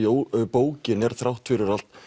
bókin er þrátt fyrir allt